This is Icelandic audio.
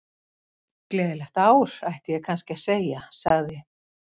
Gleðilegt ár, ætti ég kannski að segja- sagði